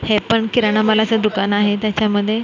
हे पण किराणा मालाचं दुकान आहे त्याच्यामध्ये --